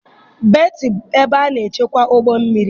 Betị bụ ebe a na-echekwa ụgbọ mmiri.